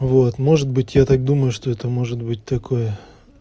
вот может быть я так думаю что это может быть такое